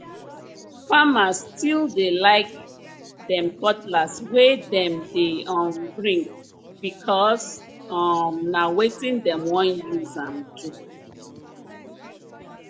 farmer still dey like dem cutlass wey dem dey um bring because um na wetin dem wan use am do